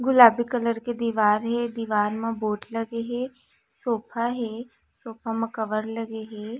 गुलाबी कलर के दीवार हे दीवार मा बोर्ड लगे हे सोफा हे सोफा मा कवर लगे हे।